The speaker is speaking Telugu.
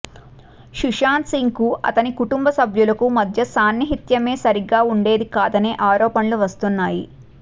సుశాంత్ సింగ్ కు అతని కుటుంబ సభ్యులకు మధ్య సాన్నిహిత్యమే సరిగ్గా ఉండేది కాదనే ఆరోపణలు వస్తున్నాయి